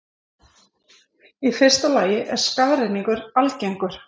Í fyrsta lagi er skafrenningur algengur.